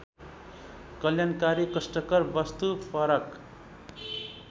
कल्याणकारी कष्टकार वस्तुपरक